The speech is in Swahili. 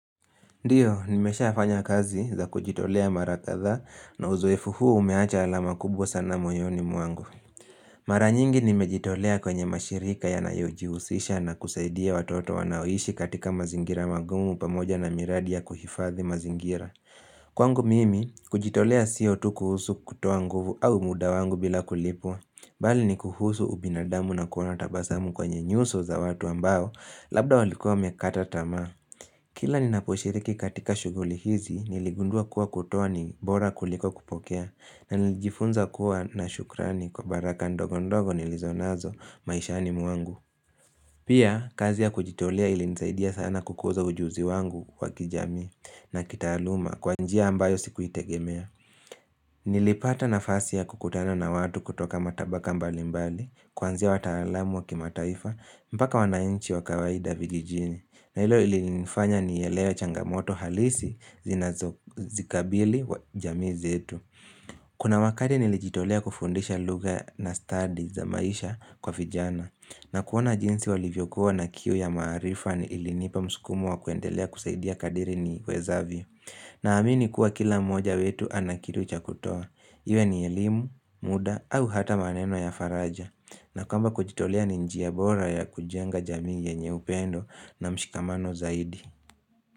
Ndiyo, nimesha fanya kazi za kujitolea mara kadhaa na uzoefu huu umeacha alama kubwa sana moyoni mwangu. Mara nyingi nimejitolea kwenye mashirika yanayo jihusisha na kusaidia watoto wanaoishi katika mazingira magumu pamoja na miradi ya kuhifadhi mazingira. Kwangu mimi, kujitolea sio tu kuhusu kutoa nguvu au muda wangu bila kulipwa. Mbali ni kuhusu ubinadamu na kuona tabasamu kwenye nyuso za watu ambao, labda walikua wamekata tamaa. Kila ninaposhiriki katika shughuli hizi, niligundua kuwa kutoa ni bora kuliko kupokea, na nilijifunza kuwa na shukrani kwa baraka ndogo ndogo nilizonazo maishani mwangu. Pia, kazi ya kujitolea ilinisaidia sana kukuza ujuzi wangu wakijamii na kitaaluma kwa njia ambayo sikuitegemea. Nilipata nafasi ya kukutana na watu kutoka matabaka mbalimbali, kuanzia wataalamu wa kimataifa, mpaka wanainchi wa kawaida vijijini na hilo lilinifanya nielewe changamoto halisi zinazozikabili jamii zetu Kuna wakati nilijitolea kufundisha lugha na stadi za maisha kwa vijana na kuona jinsi walivyokuwa na kiu ya maarifa ni ilinipa mskumo wa kuendelea kusaidia kadri niwezavyo Naamini kuwa kila mmoja wetu ana kitu cha kutoa Iwe ni elimu, muda au hata maneno ya faraja na kama kujitolea ni njia bora ya kujenga jamii yenye upendo na mshikamano zaidi.